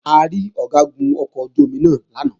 A rí Ọ̀gágun ọkọ̀ ojú-omi náà lálẹ́ àná